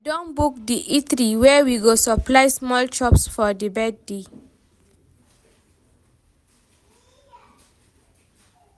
I don book di eatery wey go supply small chops for di birthday.